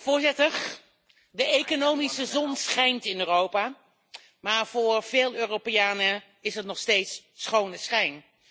Voorzitter, de economische zon schijnt in Europa, maar voor veel Europeanen is het nog steeds schone schijn.